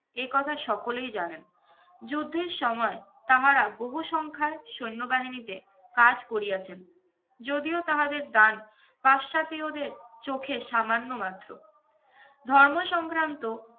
একথা সকলেই জানেন। যুদ্ধের সময় তাহারা বহু সংখ্যায় সৈন্যবাহিনীতে কাজ করিয়াছেন। যদিও তাহাদের দান পাশ্চাতিয়দের চোখে সামান্য মাত্র। ধর্ম সংক্রান্ত